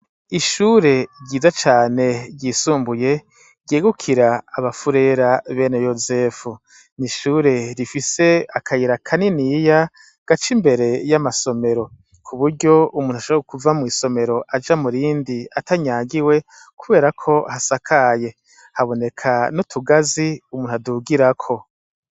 Ishure ryiza cane ryisumbuye ryegukira abafurera bene yosefu ni ishure rifise akayira kaniniya gaca imbere y'amasomero ku buryo umuntu ashabara ukuva mw'isomero aja murindi atanyagiwe kuberako hasakaye haboneka nuga azi umuntu adugirako.